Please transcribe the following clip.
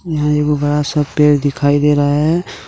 यहां एगो बड़ा सा पेड़ दिखाई दे रहा है।